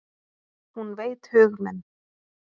Hún veit hug minn.